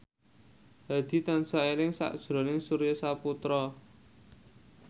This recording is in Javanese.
Hadi tansah eling sakjroning Surya Saputra